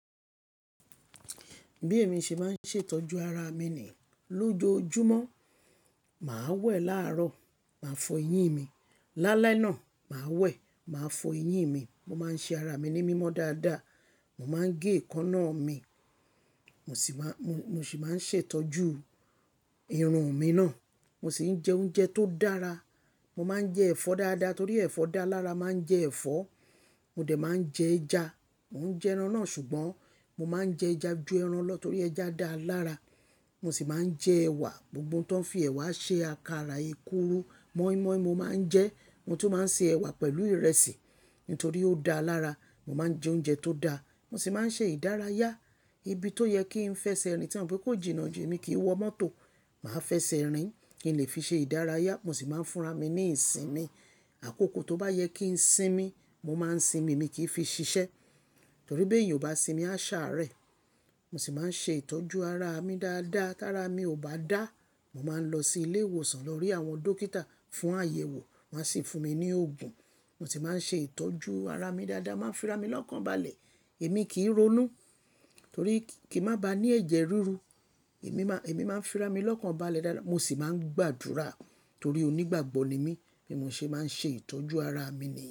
Bí èmi ṣe máa ń ṣètọ́jú ara mi ni lójoojúmọ́, mà á wẹ̀ láàárọ̀, mà á fọ eyín mi. Lálẹ́ náà, mà á wẹ̀, mà á fọ eyín mi. Mo máa ń ṣe ara mi ní mímọ́ dáadáa. Mo máa ń gé èékánná mi, mo sì máa, mo mo ṣi maa n ṣètọ́jú irun mi náà. Mo sì ń jẹ oúnjẹ tó dára. Mo máa ń jẹ ẹ̀fọ́ dáadáa torí ẹ̀fọ́ dáa lára. Mà n jẹ ẹ̀fọ́, mo dẹ̀ máa ń jẹ ẹja. Mò ń jẹran náà ṣùgbọ́n mo máa ń jẹ ẹja ju ẹran lọ torí ẹja dáa lára. Mo sì máa ń jẹ ẹ̀wà, gbogbo tó ń fi ẹ̀wà ṣe àkàrà, ekuru, moinmoin mo máa ń jẹ. Mo tu máa ń ṣe ẹ̀wà pẹ̀lú ìrẹsì nítorí ó dáa lára. Mo máa ń jẹ oúnjẹ tó dáa. Mo sì máa ń ṣe ìdárayá ibi tó yẹ kí n fẹsẹ̀ rìn ti n mọ pé kó jìnnà ju, emi kì í wọ mọ́tò. Mà á fẹsẹ̀ rìn kí n lè fi ṣe ìdárayá. Mo sì máa ń fúnra mi ní ìsinmi. Àkókò tó bá yẹ kí n sinmi, mo máa ń sinmi. Mi kì í fi ṣiṣẹ́ torí bí èèyàn ò bá sinmi, á ṣàárẹ̀. Mo sì máa ń ṣe ìtọ́jú ara mi dáadáa. Tára mi ò bá dáa, mo máa ń lọ sí ilé ìwòsàn lọ rí àwọn dókítà fún àyẹ̀wò. Wọ́n a sì fún mi ní òògùn. Mo tì máa ń ṣe ìtọ́jú ara mi dáadáa. Máa ń fira mi lọ́kàn balẹ̀. Èmi kì í ronú torí kí n má ba ní ẹ̀jẹ̀ ríru. Emi ma Èmi máa ń fira mi lọ́kàn balẹ̀ dáadáa. Mo sì máa ń gbàdúrà torí onígbàgbọ́ ni mí. Bí mo ṣe máa ń ṣe ìtọ́jú ara mi ni.